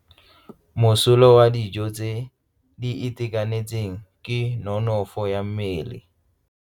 Mosola wa dijo tse di itekanetseng ke nonofo ya mmele.